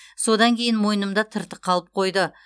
содан кейін мойнымда тыртық қалып қойды